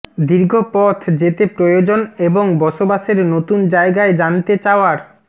দীর্ঘ পথ যেতে প্রয়োজন এবং বসবাসের নতুন জায়গায় জানতে চাওয়ার